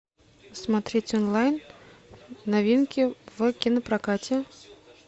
смотреть онлайн новинки в кинопрокате